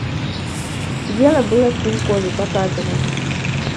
дело было в пенькове показывай